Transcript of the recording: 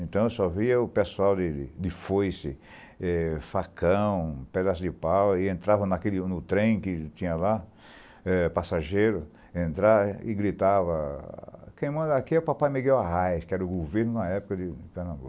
Então eu só via o pessoal de de foice, eh facão, pedaço de pau, e entrava naquele no trem que tinha lá, passageiro, entrar e gritava, quem manda aqui é o Papai Miguel Arraes, que era o governo na época de Pernambuco.